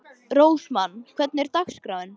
Rósmann, hvernig er dagskráin?